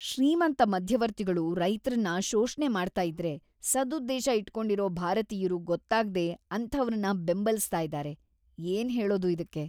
ಶ್ರೀಮಂತ ಮಧ್ಯವರ್ತಿಗಳು ರೈತ್ರನ್ನ ಶೋಷ್ಣೆ ಮಾಡ್ತಾ ಇದ್ರೆ ಸದುದ್ದೇಶ ಇಟ್ಕೊಂಡಿರೋ ಭಾರತೀಯ್ರು ಗೊತ್ತಾಗ್ದೇ ‌ಅಂಥವ್ರನ್ನ ಬೆಂಬಲಿಸ್ತಾ ಇದಾರೆ, ಏನ್ಹೇಳೋದು ಇದಕ್ಕೆ?!